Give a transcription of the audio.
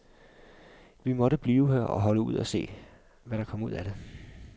Vi måtte blive her og holde ud og se, hvad der kom ud af det.